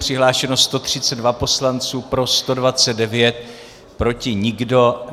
Přihlášeno 132 poslanců, pro 129, proti nikdo.